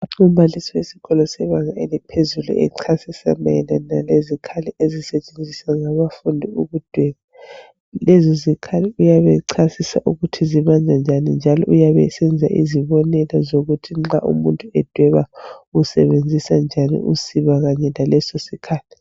Umbalisi ufundisa abantwana besikolo ethwele izikhali echasisa ukuba sisetshenziswa njani lezo zikhali ukuzwe abantwana bazwisise